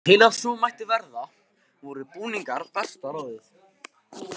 Til að svo mætti verða voru búningar besta ráðið.